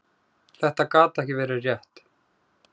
Þetta gat ekki verið rétt.